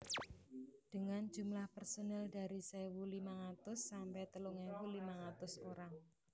Dengan jumlah personel dari sewu limang atus sampai telung ewu limang atus orang